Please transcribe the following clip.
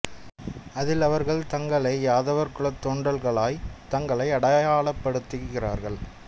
அதில் அவர்கள் தங்களை யாதவர் குலத் தோன்றல்களாய் தங்களை அடையாளப்படுத்துகிறார்கள்